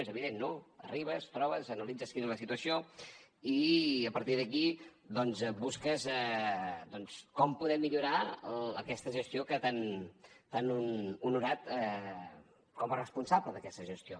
és evident no arribes trobes analitzes quina és la situació i a partir d’aquí doncs busques com poder millorar aquesta gestió que t’han honorat com a responsable d’aquesta gestió